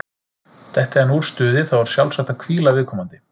Detti hann úr stuði, þá er sjálfsagt að hvíla viðkomandi.